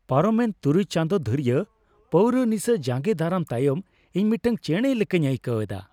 ᱯᱟᱨᱚᱢᱮᱱ ᱖ ᱪᱟᱸᱫᱳ ᱫᱷᱩᱨᱤᱭᱟᱹ ᱯᱟᱹᱣᱨᱟᱹ ᱱᱤᱥᱟ ᱡᱟᱸᱜᱮ ᱫᱟᱨᱟᱢ ᱛᱟᱭᱚᱢ ᱤᱧ ᱢᱤᱫᱴᱟᱝ ᱪᱮᱬᱮ ᱞᱮᱠᱟᱧ ᱟᱹᱭᱠᱟᱹᱣ ᱮᱫᱟ ᱾